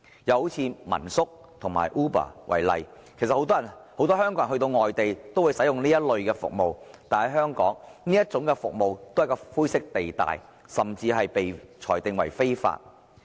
又以民宿和 Uber 為例，其實很多香港人到外地也會使用這類服務，但在香港，這些服務存在灰色地帶，甚至被裁定為非法。